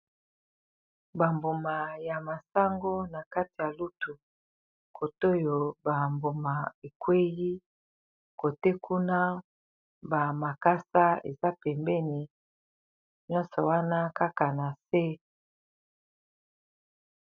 Bamboma ya masango na kati ya lutu kote oyo bamboma ekweli kote kuna ba makasa eza pembeni myoso wana kaka na se.